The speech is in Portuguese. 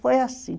Foi assim.